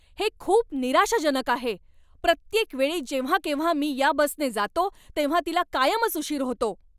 हे खूप निराशाजनक आहे! प्रत्येक वेळी जेव्हा केव्हा मी ह्या बसने जातो, तेव्हा तिला कायमच उशीर होतो.